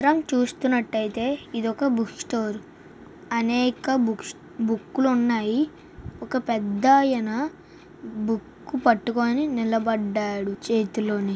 ఈ చిత్రం చూస్తున్నట్లయితే ఇది ఒక బుక్ స్టోర్ అనేక బుక్స్ బుక్కులు ఉన్నాయి ఒక పెద్దాయన బుక్ పట్టుకొని నిలబడ్డాడు నిలబడ్డాడు చేతిలోని.